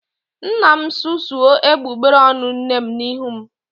Nna m susuo egbugbere ọnụ nne m n'ihu m